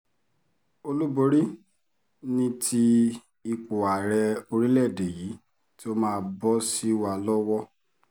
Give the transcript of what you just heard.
olúborí ni ti ipò ààrẹ orílẹ̀‐èdè yìí tó máa bọ́ sí wa lọ́wọ́